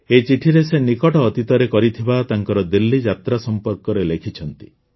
ଏହି ଚିଠିରେ ସେ ନିକଟ ଅତୀତରେ କରିଥିବା ତାଙ୍କର ଦିଲ୍ଲୀଯାତ୍ରା ସମ୍ପର୍କରେ ଲେଖିଛନ୍ତି